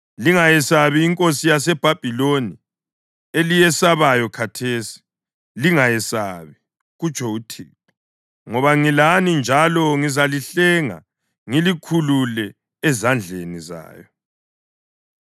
Lingayesabi inkosi yaseBhabhiloni, eliyesabayo khathesi. Lingayesabi, kutsho uThixo, ngoba ngilani njalo ngizalihlenga ngilikhulule ezandleni zayo.